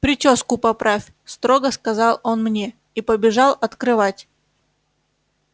причёску поправь строго сказал он мне и побежал открывать